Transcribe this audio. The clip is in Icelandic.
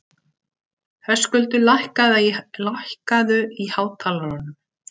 Höskuldur, lækkaðu í hátalaranum.